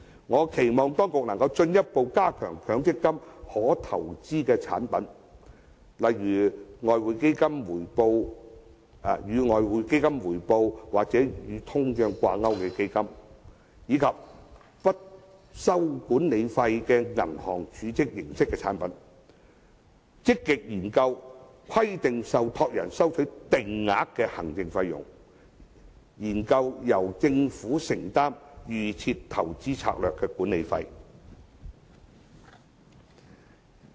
我期望當局能進一步增加強積金可投資的產品，例如與外匯基金回報或與通脹掛鈎的基金，以及不收管理費的銀行儲蓄形式產品；積極研究規定受託人收取定額的行政費用，以及研究由政府承擔"預設投資策略"的管理費。